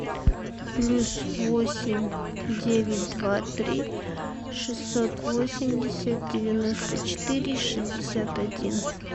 плюс восемь девять два три шестьсот восемьдесят девяносто четыре шестьдесят один